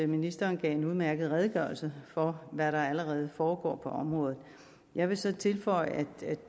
ministeren gav en udmærket redegørelse for hvad der allerede foregår på området jeg vil så tilføje at